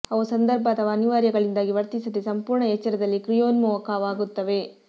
ಅವು ಸಂದರ್ಭ ಅಥವಾ ಅನಿವಾರ್ಯ ಗಳಿಂದಾಗಿ ವರ್ತಿಸದೆ ಸಂಪೂರ್ಣ ಎಚ್ಚರದಲ್ಲಿ ಕ್ರಿಯೋನ್ಮುಖವಾಗುತ್ತವೆ